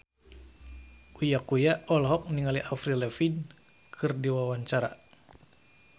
Uya Kuya olohok ningali Avril Lavigne keur diwawancara